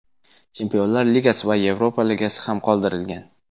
Chempionlar Ligasi va Yevropa Ligasi ham qoldirilgan.